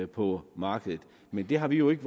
på markedet men det har vi jo ikke